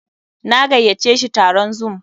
Na gayyace shi taron zoom.